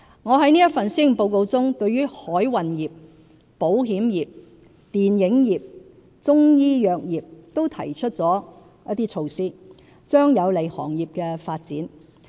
我在這份施政報告中對海運業、保險業、電影業、中醫藥業等均提出了一些措施，將有利行業的發展。